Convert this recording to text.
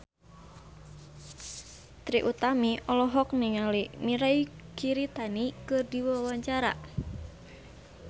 Trie Utami olohok ningali Mirei Kiritani keur diwawancara